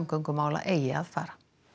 eigi að fara